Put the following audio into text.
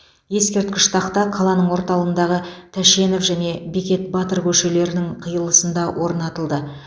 ескерткіш тақта қаланың орталығындағы тәшенов және бекет батыр көшелерінің қиылысында орнатылды